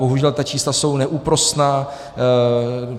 Bohužel ta čísla jsou neúprosná.